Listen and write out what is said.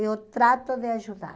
Eu trato de ajudar.